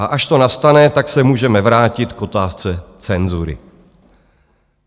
A až to nastane, tak se můžeme vrátit k otázce cenzury.